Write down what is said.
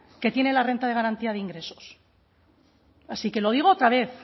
que tiene la renta de garantía de ingresos así que lo digo otra vez